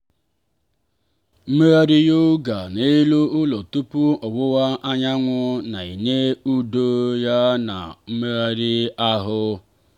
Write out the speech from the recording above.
mmegharị yoga n'elu ụlọ tupu ọwụwa anyanwụ na-enye udo ya na mmegharị ahụ.